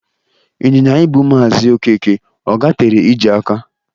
Ịnyịnya ibu Maazị ọkeke, ọ gatere ije aka?